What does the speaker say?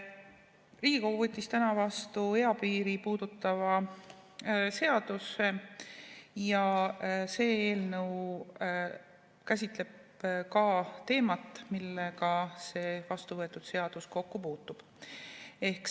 Riigikogu võttis täna vastu eapiiri puudutava seaduse ja ka see eelnõu käsitleb teemat, millega see vastuvõetud seadus kokku puutub.